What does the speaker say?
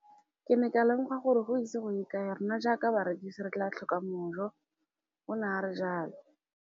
Ke ne ka lemoga gore go ise go ye kae rona jaaka barekise re tla tlhoka mojo, o ne a re jalo.